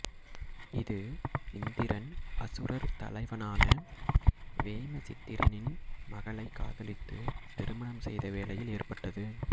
இது இந்திரன் அசுரர் தலைவனான வேமசித்திரினின் மகளை காதலித்து திருமணம் செய்த வேளையில் ஏற்பட்டது